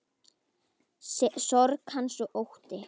Sorg hans og ótti.